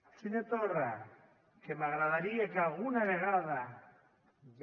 el senyor torra que m’agradaria que alguna vegada ja